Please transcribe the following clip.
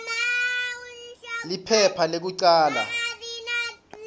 liphepha lekucala p